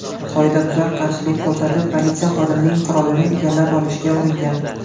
Qoidabuzar qarshilik ko‘rsatib, politsiya xodimining qurolini egallab olishga uringan.